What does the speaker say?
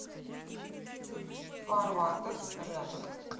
фарватер рядом